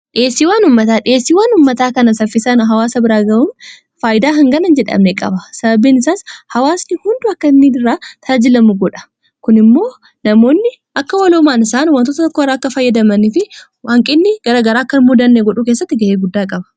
dhieessii waan ummataa dhieessiiwwaan ummataa kana saffisaan hawaasa biraa ga'uun faayydaa hinganan jedhamne qaba sababiin isaas hawaasni hundu akka nidiraa taajilamu godha kun immoo namoonni akka waloomaan isaan wantoota tokko irra akka faayyadamanii fi waanqinni garagaraa akkan muudanne godhuu keessatti ga'ee guddaa qaba